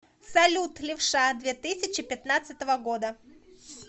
салют левша две тысячи пятнадцатого года